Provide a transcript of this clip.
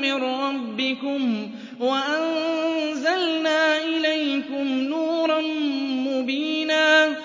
مِّن رَّبِّكُمْ وَأَنزَلْنَا إِلَيْكُمْ نُورًا مُّبِينًا